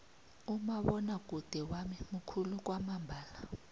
umabonwakude wami mukhulu kwamambala